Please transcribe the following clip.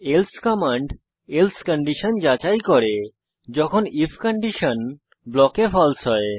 else command else condition যাচাই করে যখন আইএফ কন্ডিশন ব্লকে ফালসে হয়